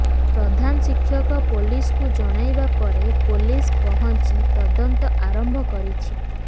ପ୍ରଧାନ ଶିକ୍ଷକ ପୋଲିସକୁ ଜଣାଇବାପରେ ପୋଲିସ ପହଁଞ୍ଚି ତଦନ୍ତ ଆରମ୍ଭ କରିଛି